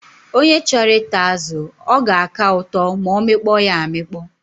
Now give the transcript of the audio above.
Onye chọrọ ịta azụ, ọ ga-aka ụtọ ma ọ mịkpọ ya amịkpọ.